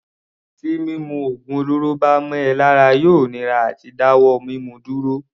Tí mímu ògùn olóró bá mọ ọ lára yóò nira àti dá wọ́ mímu dúró.